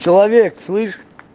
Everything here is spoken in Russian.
человек слышишь